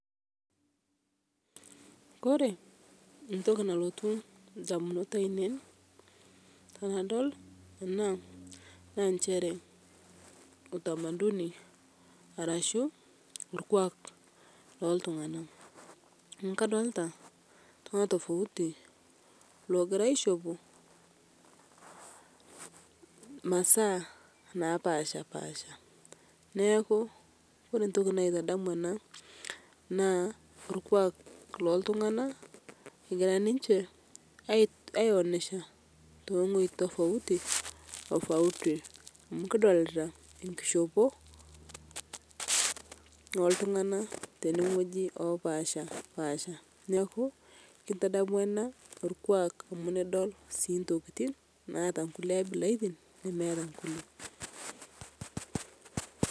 Kore entoki nalotu indamunot ainei enadol ena naa nchere utamaduni arashu orkwak looltung'ana. Neeku kadolita iltung'anak tofauti loogira aishopo imasaa napaasha paasha. Neeku ore entoki naitadamu ena naa orkwak loltung'anak egira ninche aionesha ilong'oi tofauti tofauti. Amu kidolita enkishopo oltung'anak tenewueji oopasha paasha. Neeku kintadamu ena orkwak amu nidol sii intokiting naata inkulie abilaritin nemeeta nkulie